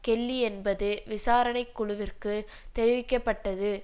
Kelly என்பதும் விசாரணை குழுவிற்குத் தெரிவிக்க பட்டது